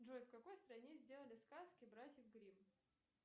джой в какой стране сделали сказки братьев гримм